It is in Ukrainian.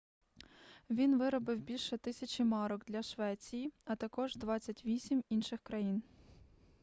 він виробив більше 1000 марок для швеції а також 28 інших країн